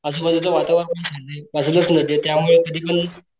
आजूबाजूचं वातारण पण छाने बाजूलाच त्यामुळे कधी पण,